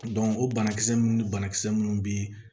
o banakisɛ ninnu banakisɛ minnu bɛ